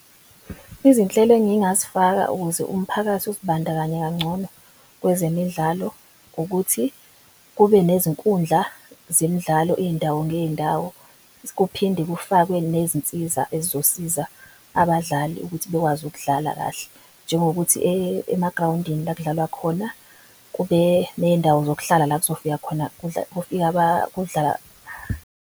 Izinhlelo engingazifaka ukuze umphakathi, uzibandakanye kangcono kwezemidlalo ukuthi kube nezinkundla zemidlalo iy'ndawo ngey'ndawo. Kuphinde kufakwe nezinsiza ezizosiza abadlali ukuthi bekwazi ukudlala kahle njengokuthi emagrawundini la kudlalwa khona kube ney'ndawo zokuhlala la .